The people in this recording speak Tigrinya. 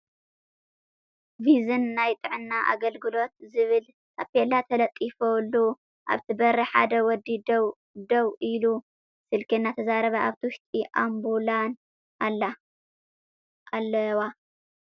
ቪዝን ናይ ጥዕና ኣገልግሎት ዝብል ታፔላ ተለጢፉሉ ኣብቲ በሪ ሓደ ወዲ ዴዉ ኢሉ ስልኪ እናተዛረበን ኣብቲ ውሽጢ ኣምቡላን ኣለዋ ።